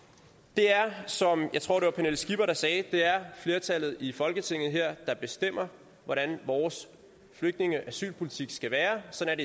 det er som jeg tror pernille skipper sagde flertallet i folketinget der bestemmer hvordan vores flygtninge og asylpolitik skal være sådan